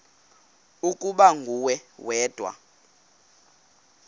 ukuba nguwe wedwa